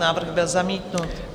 Návrh byl zamítnut.